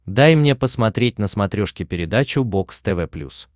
дай мне посмотреть на смотрешке передачу бокс тв плюс